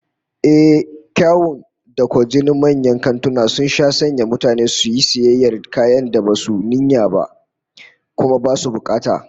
Ehh, kyawun da kwajinin manyan kantuna sun sha sanya mutane su yi sayayyar kayan da basu yi niyyar ba, kuma basu bukata